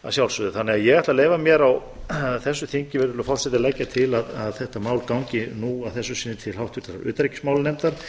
að sjálfsögðu þannig að ég ætla að leyfa mér á þessu þingi virðulegi forseti að leggja til að þetta mál gangi nú að þessu sinni til háttvirtrar utanríkismálanefndar og